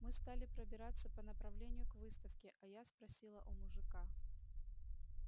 мы стали пробираться по направлению к выставке а я спросила у мужика